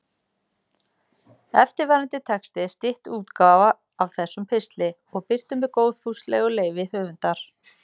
Eftirfarandi texti er stytt útgáfa af þessum pistli og birtur með góðfúslegu leyfi höfundar.